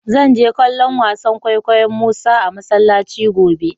Zan je kallo'n wasan kwaikwayo'n Musa a masallaci gobe.